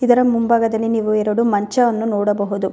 ಇದರ ಮುಂಭಾಗದಲ್ಲಿ ನೀವು ಎರಡು ಮಂಚವನ್ನು ನೋಡಬಹುದು.